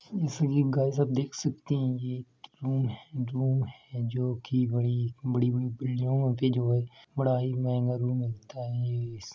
जैसे की गाइस आप देख सकते हैं ये रूम है रूम है जोकि बड़ी बड़ी बड़ी बिल्डिंगो में भी जो है बड़ा ही महंगा रूम मिलता है।